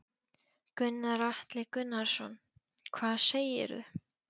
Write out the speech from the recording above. Gunnar Atli Gunnarsson: Hvað segir þú?